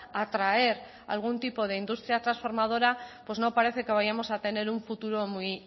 atraer algún tipo de industria trasformadora pues no parece que vayamos a tener un futuro muy